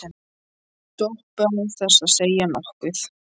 Doppu án þess að segja nokkuð.